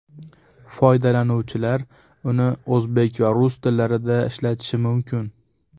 Foydalanuvchilar uni o‘zbek va rus tillarida ishlatishi mumkin.